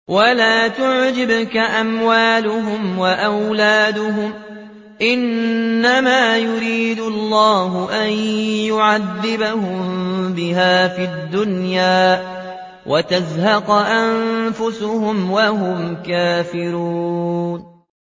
وَلَا تُعْجِبْكَ أَمْوَالُهُمْ وَأَوْلَادُهُمْ ۚ إِنَّمَا يُرِيدُ اللَّهُ أَن يُعَذِّبَهُم بِهَا فِي الدُّنْيَا وَتَزْهَقَ أَنفُسُهُمْ وَهُمْ كَافِرُونَ